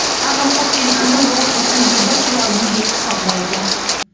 Ammo ko‘pchilik uni rol uchun juda chiroyli deb hisoblaydi.